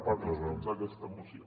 part dels punts d’aquesta moció